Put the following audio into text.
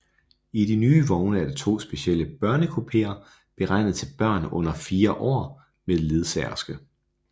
I de nye vogne er der to specielle børnekupeer beregnet til børn under fire år med ledsagerske